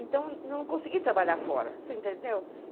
Então, não consegui trabalhar fora, você entendeu?